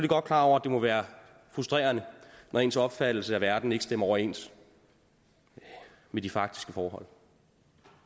godt klar over at det må være frustrerende når ens opfattelse af verden ikke stemmer overens med de faktiske forhold